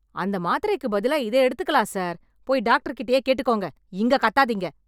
அந்த மாத்திரைக்கு பதிலா இத எடுத்துக்கலாம் சார்... போய் டாக்டர் கிட்டயே கேட்டுக்கோங்க... இங்க கத்தாதீங்க.